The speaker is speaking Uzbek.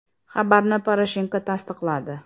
Xabarni Poroshenko tasdiqladi.